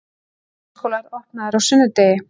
Leikskólar opnaðir á sunnudegi